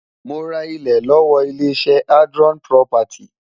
Mo ra ilẹ̀ lọ́wọ́ ilé-iṣẹ́ Adron Property.